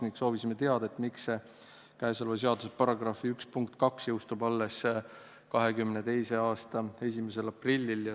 Me soovisime teada, miks tulevase seaduse § 1 punkt 2 jõustub alles 2022. aasta 1. aprillil.